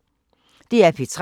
DR P3